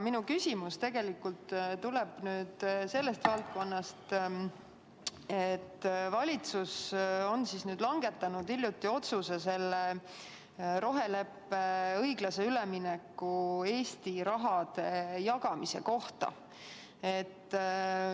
Minu küsimus tuleb nüüd sellest valdkonnast, et valitsus langetas hiljuti otsuse roheleppe õiglase ülemineku Eesti raha jagamise kohta.